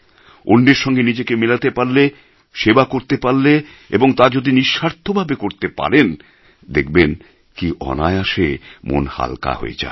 অন্যের সঙ্গে নিজেকে মেলাতে পারলে সেবা করতে পারলে এবং তা যদি নিঃস্বার্থভাবে করতে পারেন দেখবেন কি অনায়াসে মন হালকা হয়ে যায়